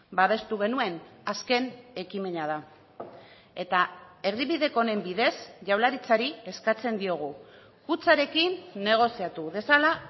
babestu genuen azken ekimena da eta erdibideko honen bidez jaurlaritzari eskatzen diogu kutxarekin negoziatu dezala